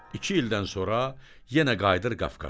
İki ildən sonra yenə qayıdır Qafqaza.